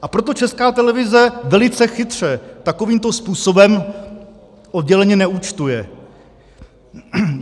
A proto Česká televize velice chytře takovýmto způsobem odděleně neúčtuje.